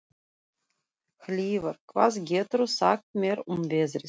Hlífar, hvað geturðu sagt mér um veðrið?